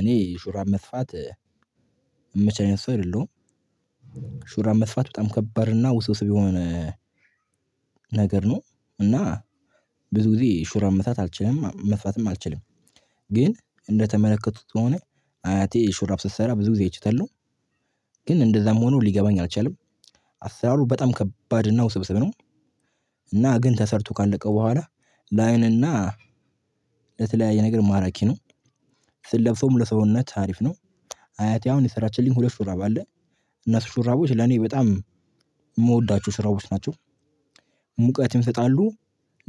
እኔ ሹራብ መስፋት የምችል ሰው አይደለሁም። ሹራብ መስፋት በጣም ከባድ እና ውስብስብ የሆነ ነገር ነው። እና ብዙ ጊዜ ሹራ መስራት አልችልም መስፋትም አልችልም። ግን እንደተመለከቱት ከሆነ አያቴ ሹራብ ስትሰራ ብዙ ጊዜ አይችታል ነው። ግን እንደዛም ሆኖ ሊገባኝ አልቻለም። አሰራሩ በጣም ከባድ ነው ውስብስብ ነው። እና ግን ተሰርቶ ካለቀ በኋላ ለአይን እና ለተለያየ ነገር ማራኪ ነው። ስለብሰው ለሰውነት አሪፍ ነው። አያቴ አሁን የሰራችልኝ ሁለት ሹራብ አለ። እነሱ ሹራቦች ለኔ በጣም የምወዳችሁ ስራዎች ናቸው። ሙቀትም ይሰጣሉ።